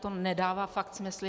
To nedává fakt smysl!